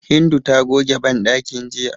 Hindu ta goge banɗakin jiya.